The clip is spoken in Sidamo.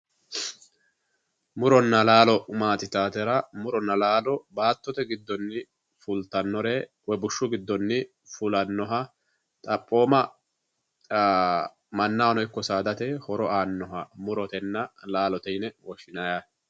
Muronna laalo maati yitaatera, muronna laalo baattote giddonni fultannore woy bushshu giddonni fulannoha xaphooma mannahono ikko saadate aannoha murotenna laalote yine woshshinayi yaate.